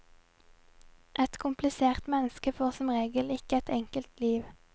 Et komplisert menneske får som regel ikke et enkelt liv.